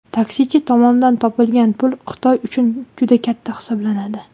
Taksichi tomonidan topilgan pul Xitoy uchun juda katta hisoblanadi.